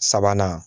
Sabanan